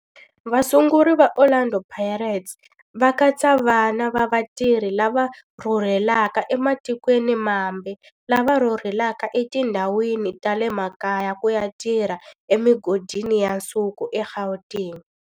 Vasunguri va Orlando Pirates va katsa vana va vatirhi lava rhurhelaka ematikweni mambe lava rhurheleke etindhawini ta le makaya ku ya tirha emigodini ya nsuku eGauteng.